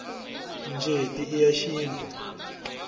njeti i ya xintu